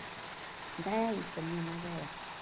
Então é isso, a minha mágoa é essa.